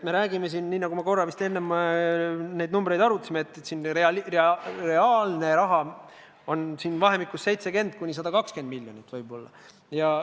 Me räägime siin, nii nagu ma vist neid numbreid arutades ütlesin, et reaalne summa on võib-olla vahemikus 70–120 miljonit eurot.